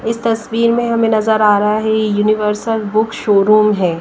इस तस्वीर में हमें नजर आ रहा है यूनिवर्सल बुक शोरूम है।